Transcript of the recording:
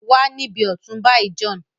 Wá nibi ọtun bayi John!